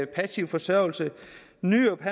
passiv forsørgelse nyrup